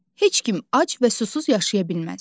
Heç kim ac və susuz yaşaya bilməz.